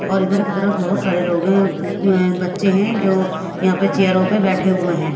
और इधर की तरफ बहुत सारे लोग हैं अम्म अ बच्चे हैं जो यहां पर चेयरों पर बैठे हुए हैं।